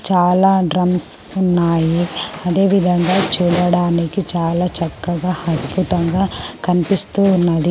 చాలా డ్రమ్స్ ఉన్నాయి అదేవిధంగా చూడడానికి చాలా చక్కగా అద్భుతంగా కనిపిస్తూ ఉన్నది.